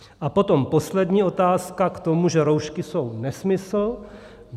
A potom poslední otázka k tomu, že roušky jsou nesmysl.